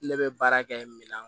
Ne bɛ baara kɛ minan